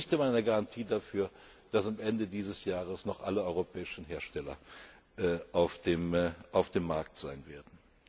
Es gibt noch nicht einmal eine Garantie dafür, dass am Ende dieses Jahres noch alle europäischen Hersteller auf dem Markt sein werden.